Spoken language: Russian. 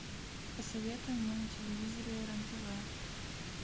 посоветуй мне на телевизоре рен тв